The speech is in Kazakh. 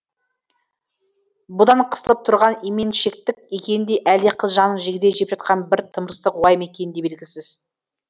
бұдан қысылып тұрған именшектік екені де әлде қыз жанын жегідей жеп жатқан бір тымырсық уайым екені де белгісіз